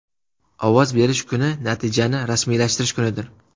Ovoz berish kuni natijani rasmiylashtirish kunidir.